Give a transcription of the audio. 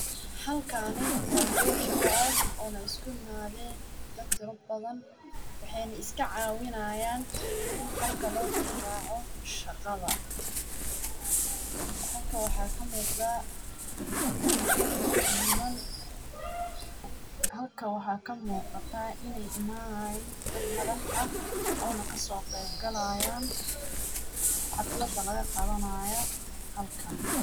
Halkaani waa goob shaqo ah oo la isku imaadeen dhad tira badan waxaanay iska caawinaayaan halka loo deh raaco shaqada. Halka waxaa ka muqata niman. Halka waxaa ka muuqata inay imaanayaan dhad madax ah oo na kasoo qeyb galayaan xafladda laga qabanayo halkan.